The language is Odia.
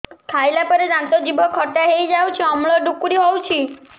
ଖାଇଲା ପରେ ଦାନ୍ତ ଜିଭ ଖଟା ହେଇଯାଉଛି ଅମ୍ଳ ଡ଼ୁକରି ହଉଛି